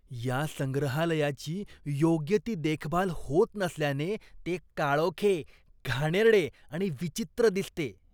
या संग्रहालयाची योग्य ती देखभाल होत नसल्याने ते काळोखे, घाणेरडे आणि विचित्र दिसते.